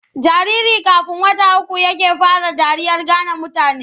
Jariri kafn wata uku yake fara dariyar gane mutane.